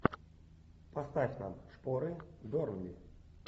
поставь нам шпоры бернли